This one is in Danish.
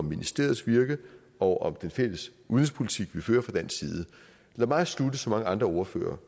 ministeriets virke og den fælles udenrigspolitik vi fører fra dansk side lad mig slutte som mange ordførere